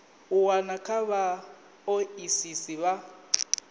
u wana kha vhaoisisi vha